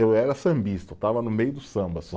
Eu era sambista, eu estava no meio do samba só.